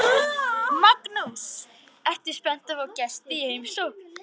Magnús: Ertu spennt að fá gesti í heimsókn?